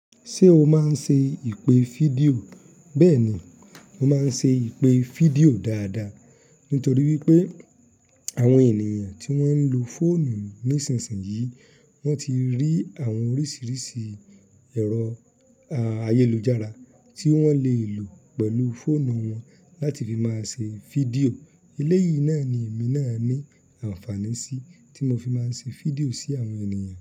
Ṣé o máa ń ṣe ìpè fídíò? Bẹ́ẹ̀ ni, mo máa ń ṣe ìpè fídíò dáadáa. Nítorí wípé àwọn ènìyàn tí wọ́n ń lo fóònù ní ìsinsìnyí, wọ́n ti rí àwọn oríṣiríṣi ẹ̀rọ ayélujára tí wọ́n lè lò pẹ̀lú fóònù wọn láti fi máa ṣe fídíò. Eléyìí náà ni èmi náà ní àǹfààní sí tí mo fi máa ń ṣe fídíò sí àwọn ènìyàn.